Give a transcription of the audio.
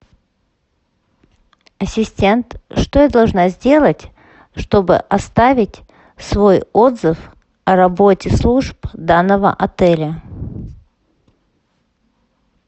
ассистент что я должна сделать чтобы оставить свой отзыв о работе служб данного отеля